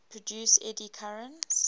produce eddy currents